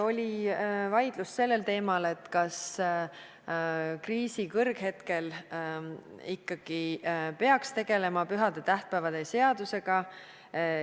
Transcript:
Oli vaidlus sellel teemal, kas kriisi kõrghetkel ikkagi peaks tegelema pühade ja tähtpäevade seadusega.